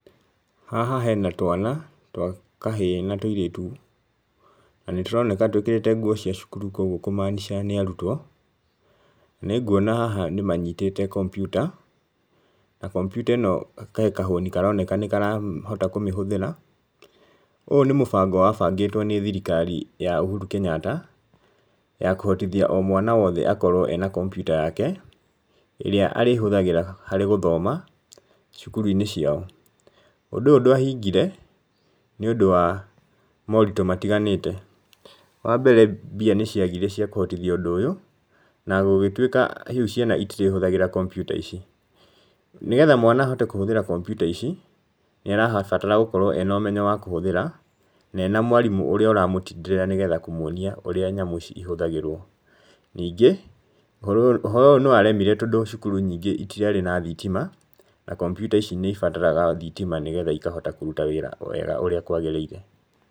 Haha hena twana twa kahĩĩ na tũirĩtu, na nĩ tũroneka twĩkĩrĩte nguo cia cukuru koguo kũmaanica nĩ arutwo, nĩ nguona haha nĩ manyitĩte computer, na computer ĩno he kahũni karoneka nĩ karahota kũmĩhũthĩra. Ũũ nĩ mũbango wabangĩtwo nĩ thirikari ya Uhuru Kenyatta, ya kũhotithia o mwana wote akorwo ena computer yake, ĩrĩ arĩhũthagĩra harĩ gũthoma cukuru-inĩ ciao. Ũndũ ũyũ ndwahingire nĩ ũndũ wa moritũ matiganĩte, wambere mbia nĩ ciagire cia kũhotithia ũndũ ũyũ, na gũgĩtuĩka rĩu ciana itirĩhũthagĩra computer ici. nĩgetha mwana ahote kũhũthĩra computer ici, nĩ arabatara gũkorwo ena ũmenyo wa kũhũthĩra, na ena mwarimũ ũríĩ ũramũtindĩrĩra nĩgetha kũmwonia ũrĩa nyamũ ici ihũthagĩrwo, ningĩ ũhoro ũyũ nĩ waremire tondũ cukuru nyingĩ itiarĩ na thitima, na computer ici nĩ ibataraga thitima nĩgetha ikahota kũruta wĩra wega ũrĩa kwagĩrĩire.